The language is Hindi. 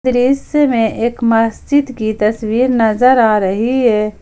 दृश्य में एक मस्जिद की तस्वीर नजर आ रही है।